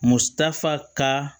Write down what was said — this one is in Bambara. Musaka ka